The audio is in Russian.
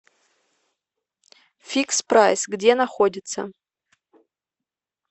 фикс прайс где находится